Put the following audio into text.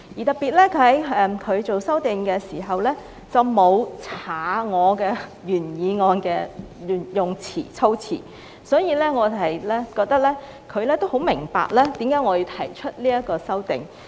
特別的是田北辰議員作出修訂時，沒有刪去我原議案的措辭，所以我們認為他也很明白為何我要提出這項議案。